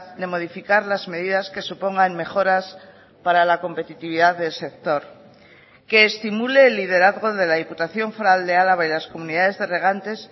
de modificar las medidas que supongan mejoras para la competitividad del sector que estimule el liderazgo de la diputación foral de álava y las comunidades de regantes